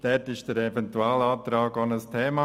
Dabei war der Eventualantrag auch ein Thema.